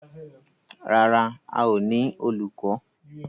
Rárá, a ó ní olùkọ́.